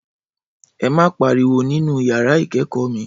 Ẹ má pariwo nínú yàrá ìkẹ́kọ̀ọ́ mi